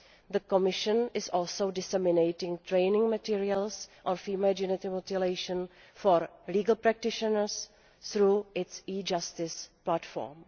The Commission is also disseminating training materials on female genital mutilation for legal practitioners through its e Justice platform.